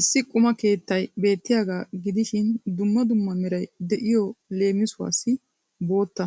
Issi qumma keettay beettiyaagaa gidishiin dumma dumma meray de'yo leemisuwassi bootta,